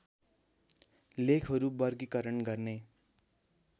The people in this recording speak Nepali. लेखहरू बर्गीकरण गर्ने